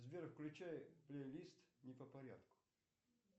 сбер включай плейлист не по порядку